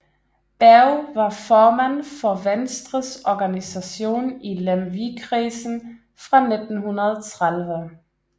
Berg var formand for Venstres organisation i Lemvigkredsen fra 1913